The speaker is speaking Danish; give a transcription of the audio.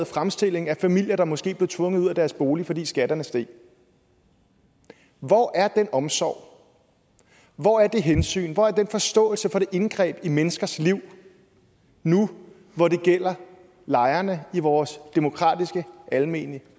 fremstilling af familier der måske bliver tvunget ud af deres bolig fordi skatterne steg hvor er den omsorg hvor er det hensyn hvor er den forståelse for det indgreb i menneskers liv nu hvor det gælder lejerne i vores demokratiske almene